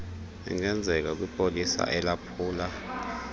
engenzeka kwipolisa elaphula